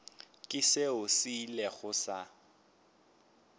ke seo se ilego sa